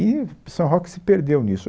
E São Roque se perdeu nisso.